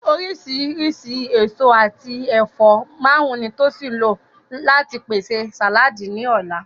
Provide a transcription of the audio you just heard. Oríṣìíríṣìí èso àti ẹ̀fọ́ márùn-ún ni Tosin lò láti pèsè sàláàdì ní ọ̀la